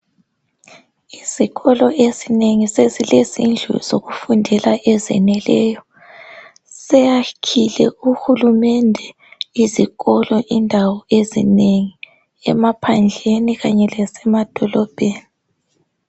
Izikolo ezinengi sezilezindlu ezinengi zokufundela ezeneleyo seyakhole uhulumende izikolo indawo ezinengi emaphandleni kanye lasemadolobheni